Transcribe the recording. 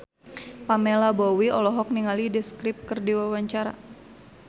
Pamela Bowie olohok ningali The Script keur diwawancara